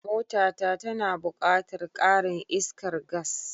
Mota ta tana buƙatar karin iskar gas.